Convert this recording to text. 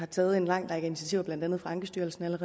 taget en lang række initiativer blandt andet fra ankestyrelsens